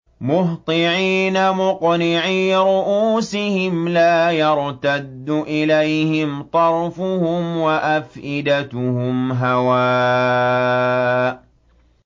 مُهْطِعِينَ مُقْنِعِي رُءُوسِهِمْ لَا يَرْتَدُّ إِلَيْهِمْ طَرْفُهُمْ ۖ وَأَفْئِدَتُهُمْ هَوَاءٌ